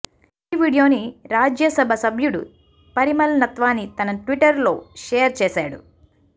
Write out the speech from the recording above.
ఈ వీడియోని రాజ్యసభ సభ్యుడు పరిమల్ నత్వానీ తన ట్విట్టర్ లో షేర్ చేశాడు